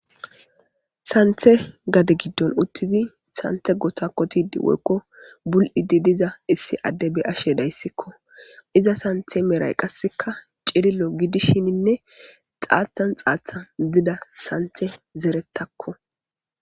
Sanththe gade giddon uttidi sanththe kotakotid woyiko buli'id diza issi ade beyashe dayisiko iza santhe medhayi cililo gidishine xathani xathani gidida sanithe zerethako.